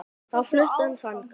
Þá flutti hann þangað.